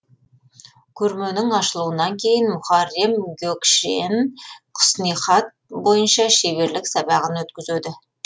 көрменің ашылуынан кейін мухаррем гөкшен құснихат бойынша шеберлік сабағын өткізеді